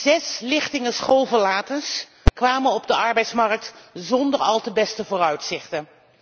Zes lichtingen schoolverlaters kwamen op de arbeidsmarkt zonder al te beste vooruitzichten.